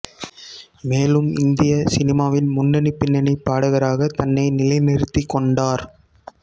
மேலும் இந்திய சினிமாவின் முன்னணி பின்னணிப் பாடகராக தன்னை நிலைநிறுத்திக் கொண்டார்